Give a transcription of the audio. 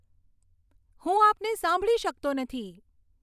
હું આપને સાંભળી શકતો નથી